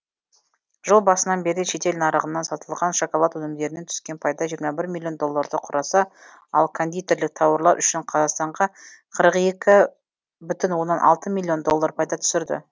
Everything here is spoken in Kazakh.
жыл басынан бері шетел нарығына сатылған шоколад өнімдерінен түскен пайда жиырма миллион долларды құраса ал кондитерлік тауарлар үшін қазақстанға қырық екі бүтін оннан алты миллион доллар пайда түсірді